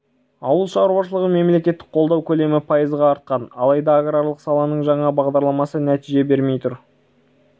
ауыл шаруашылығын мемлекеттік қолдау көлемі пайызға артқан алайда аграрлық саланың жаңа бағдарламасы нәтиже бермей тұр